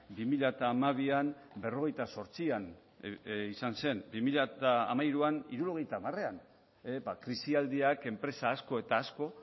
bi mila hamabian berrogeita zortzian izan zen bi mila hamairuan hirurogeita hamarean krisialdiak enpresa asko eta asko